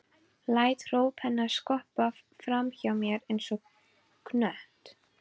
Læt hróp hennar skoppa fram hjá mér einsog knött.